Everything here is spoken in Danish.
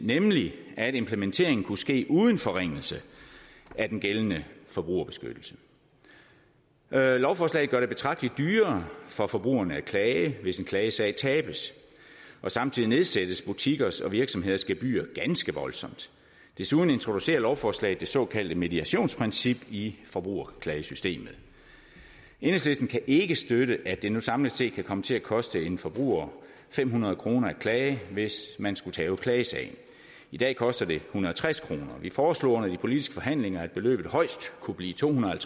nemlig at en implementering kunne ske uden forringelse af den gældende forbrugerbeskyttelse lovforslaget gør det betragteligt dyrere for forbrugerne at klage hvis en klagesag tabes samtidig nedsættes butikkers og virksomheders gebyrer ganske voldsomt desuden introducerer lovforslaget det såkaldte mediationsprincip i forbrugerklagesystemet enhedslisten kan ikke støtte at det nu samlet set kan komme til at koste en forbruger fem hundrede kroner at klage hvis man skulle tabe klagesagen i dag koster det hundrede og tres kroner vi foreslog under de politiske forhandlinger at beløbet højst kunne blive to hundrede og